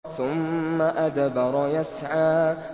ثُمَّ أَدْبَرَ يَسْعَىٰ